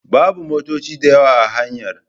Babu motoci dayawa a hanyar.